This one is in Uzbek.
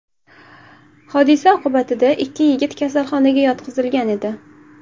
Hodisa oqibatida ikki yigit kasalxonaga yotqizilgan edi.